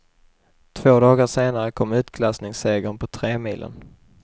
Två dagar senare kom utklassningssegern på tremilen.